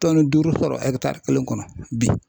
Tɔnni duuru sɔrɔ ɛkitari kelen kɔnɔ bi.